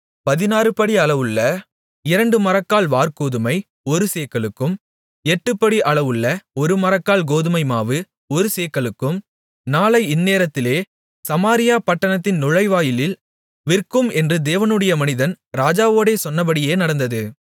பதினாறுபடி அளவுள்ள இரண்டு மரக்கால் வாற்கோதுமை ஒரு சேக்கலுக்கும் எட்டுப்படி அளவுள்ள ஒருமரக்கால் கோதுமைமாவு ஒரு சேக்கலுக்கும் நாளை இந்நேரத்திலே சமாரியா பட்டணத்தின் நுழைவாயிலில் விற்கும் என்று தேவனுடைய மனிதன் ராஜாவோடே சொன்னபடியே நடந்தது